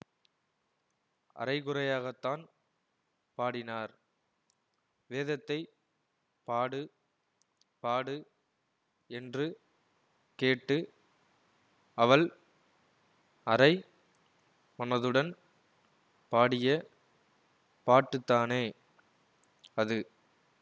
அரைகுறையாகத்தான் பாடினார் வேதத்தைப் பாடு பாடு என்று கேட்டு அவள் அரை மனதுடன் பாடிய பாட்டுத்தானே அது